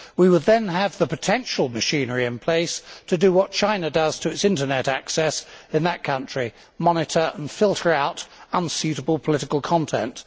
We would then potentially have the machinery in place to do what China does to its Internet access in that country monitor and filter out unsuitable political content.